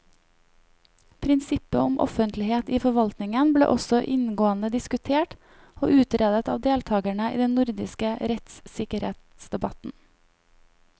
Prinsippet om offentlighet i forvaltningen ble også inngående diskutert og utredet av deltakerne i den nordiske rettssikkerhetsdebatten.